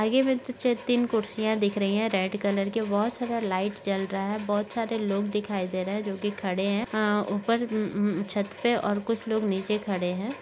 आगे मे तीन कुर्सियां दिख रही है रेड कलर की बहुत सारा लाइट जल रहा है। बहुत सारे लोग दिखाई दे रहे जोकि खड़े हैं यहाँ ऊपर अअ छत पर और कुछ लोग नीचे खड़े हैं।